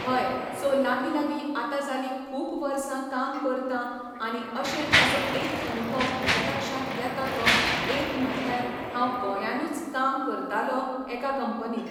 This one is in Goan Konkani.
हय सो लागींलागीं आतां जालीं खूब वर्सां काम करतां आनी अशे असो एक अनूभव म्हज्या लक्षांत येता तो एक म्हटल्यार हांव गोंयानूच काम करतालो एका कंपनीन